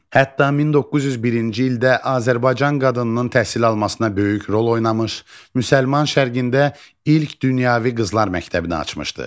Hətta 1901-ci ildə Azərbaycan qadınının təhsil almasına böyük rol oynamış Müsəlman şərqində ilk dünyəvi qızlar məktəbini açmışdı.